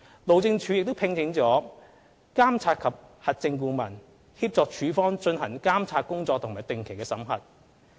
路政署亦聘請了監察及核證顧問，協助署方進行監察工作和定期審核。